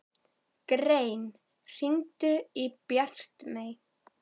Grein, hringdu í Bjartmey.